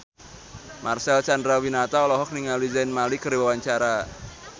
Marcel Chandrawinata olohok ningali Zayn Malik keur diwawancara